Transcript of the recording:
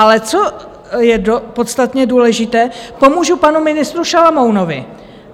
Ale co je podstatně důležité, pomůžu panu ministru Šalomounovi.